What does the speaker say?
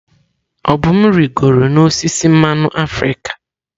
Obum rịgoro n'osisi mmanụ africa.